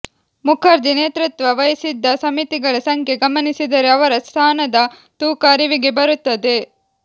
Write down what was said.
ಮುಖರ್ಜಿ ನೇತೃತ್ವ ವಹಿಸಿದ್ದ ಸಮಿತಿಗಳ ಸಂಖ್ಯೆ ಗಮನಿಸಿದರೆ ಅವರ ಸ್ಥಾನದ ತೂಕ ಅರಿವಿಗೆ ಬರುತ್ತದೆ